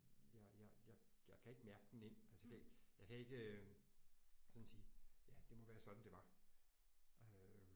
Jeg jeg jeg jeg kan ikke mærke den ind altså jeg kan jeg kan ikke sådan sige ja det må være sådan det var øh